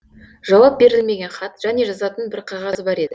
жауап берілмеген хат және жазатын бір қағазы бар еді